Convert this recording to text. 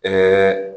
Ɛɛ